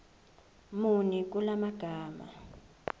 muni kula magama